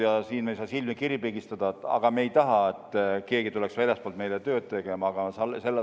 Ja siin me ei saa silmi kinni pigistada – aga me ei taha, et keegi tuleks väljastpoolt meile tööd tegema.